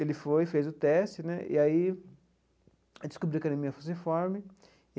Ele foi fez o teste né e aí descobriu que era anemia falciforme.